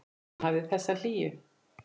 Hann hafði þessa hlýju.